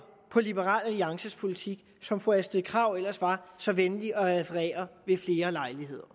på liberal alliances politik som fru astrid krag ellers var så venlig at referere ved flere lejligheder